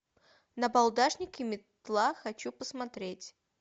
набалдашник и метла хочу посмотреть